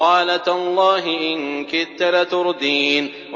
قَالَ تَاللَّهِ إِن كِدتَّ لَتُرْدِينِ